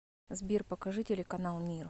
сбер покажи телеканал мир